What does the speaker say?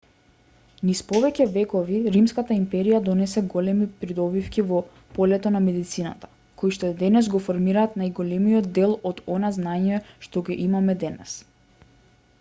низ повеќе векови римската империја донесе големи придобивки во полето на медицината коишто денес го формираат најголемиот дел од она знаење што го имаме денес